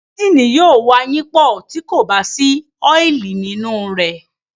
Ẹ́ńgìnì yóò wayínpọ̀, tí kò bá sí ọ́ìlì nínú rẹ̀.